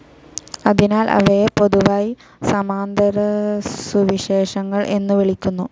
അതിനാൽ അവയെ പൊതുവായി സമാന്തരസുവിശേഷങ്ങൾ എന്നു വിളിക്കുന്നു.